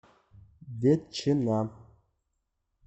ветчина